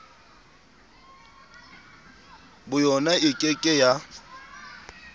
boyona e ke ke ya